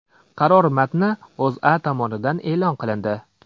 Qaror matni O‘zA tomonidan e’lon qilindi .